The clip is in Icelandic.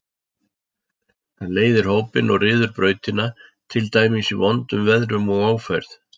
Það leiðir hópinn og ryður brautina, til dæmis í vondum veðrum og ófærð.